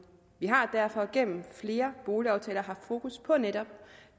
vi har derfor gennem flere boligaftaler haft fokus på netop